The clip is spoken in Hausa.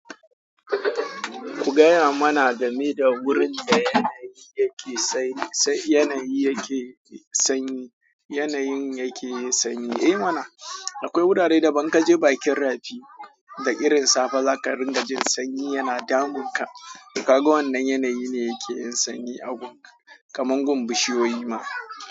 Ku gaya mana game da wurin da yanayin yake sanyi. Ei mana, akwai wurare da ban ka je bakin rafi da irin safa za ka ringa jin sanyi yana damun ka, to kaga wannan yanayi ne yake yin sanyi a gun kamar gun bishiyoyi ma.